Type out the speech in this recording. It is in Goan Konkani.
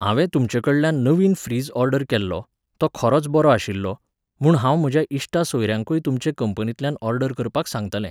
हांवें तुमचेकडल्यान नवीन फ्रिज ओर्डर केल्लो, तो खरोच बरो आशिल्लो, म्हूण हांव म्हज्या इश्टा सोयऱ्यांकूय तुमचे कंपनींतल्यान ऑर्डर करपाक सांगतलें.